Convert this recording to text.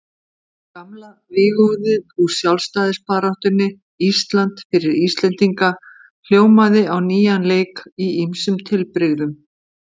Gamla vígorðið úr sjálfstæðisbaráttunni, Ísland fyrir Íslendinga, hljómaði á nýjan leik í ýmsum tilbrigðum.